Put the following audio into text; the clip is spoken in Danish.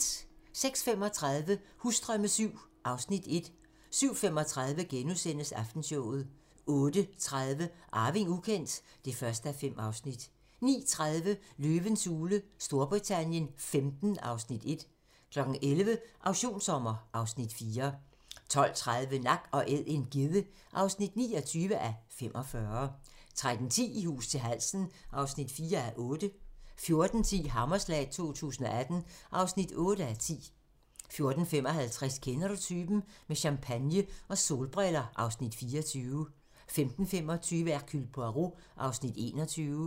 06:35: Husdrømme VII (Afs. 1) 07:35: Aftenshowet * 08:30: Arving ukendt (1:5) 09:30: Løvens Hule Storbritannien XV (Afs. 1) 11:00: Auktionssommer (Afs. 4) 12:30: Nak & Æd - en gedde (29:45) 13:10: I hus til halsen (4:8) 14:10: Hammerslag 2018 (8:10) 14:55: Kender du typen? - Med champagne og solbriller (Afs. 24) 15:25: Hercule Poirot (21:75)